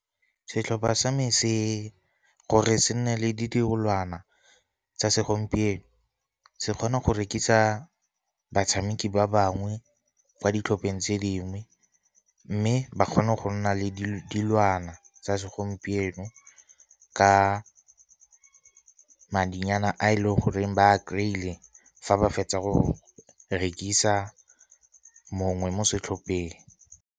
Setlhopha sa me gore se nne le tsa segompieno se kgona go rekisa batshameki ba bangwe kwa ditlhopheng tse dingwe. Mme ba kgone go nna le dilwana tsa segompieno ka madinyana a e leng goreng ba a kry-ile fa ba fetsa go rekisa mongwe mo setlhopheng.